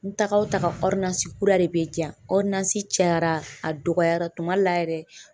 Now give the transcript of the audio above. N taga o taga kura de bɛ di yan, cayara a dɔgɔyara tuma dɔ la yɛrɛ